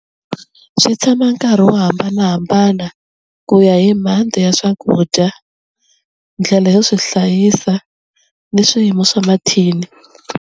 Swi tshama nkarhi wo hambanahambana ku ya hi ya swakudya ndlela yo swi hlayisa ni swiyimo swa mathini.